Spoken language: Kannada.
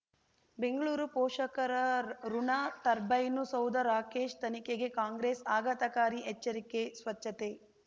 ಬೆಂಗಳೂರು ಪೋಷಕರಋಣ ಟರ್ಬೈನು ಸೌಧ ರಾಕೇಶ್ ತನಿಖೆಗೆ ಕಾಂಗ್ರೆಸ್ ಆಘಾತಕಾರಿ ಎಚ್ಚರಿಕೆ ಸ್ವಚ್ಛತೆ